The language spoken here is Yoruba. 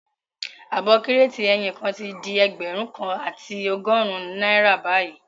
Ààbọ̀ Kírètì ẹyin kan tí di ẹgbẹ̀rún kan àti ọgọ́rùn-ún náírà bayii